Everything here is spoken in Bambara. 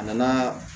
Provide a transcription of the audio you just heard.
A nana